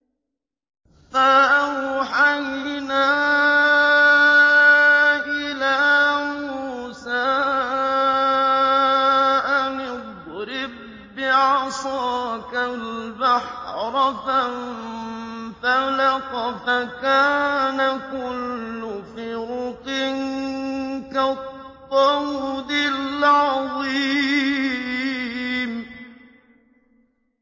فَأَوْحَيْنَا إِلَىٰ مُوسَىٰ أَنِ اضْرِب بِّعَصَاكَ الْبَحْرَ ۖ فَانفَلَقَ فَكَانَ كُلُّ فِرْقٍ كَالطَّوْدِ الْعَظِيمِ